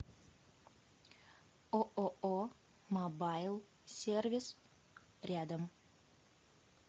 ооо мобайл сервис рядом